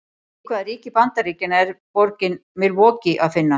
Í hvaða ríki Bandaríkjanna er borgina Milwaukee að finna?